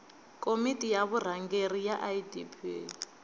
komiti ya vurhangeri ya idp